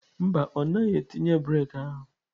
Mba, ọ naghị etinye breeki ahụ.